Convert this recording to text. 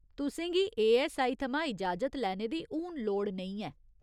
तुसें गी एऐस्सआई थमां इजाजत लैने दी हून लोड़ नेईं ऐ।